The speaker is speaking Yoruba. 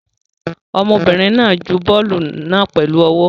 Ọmọbìnrin náà ju bọ́ọ́lù náà pẹ̀lú ọwọ́.